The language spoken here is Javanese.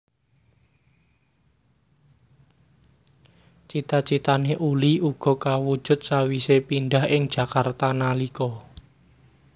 Cita citané Uli uga kawujud sawise pindah ing Jakarta nalika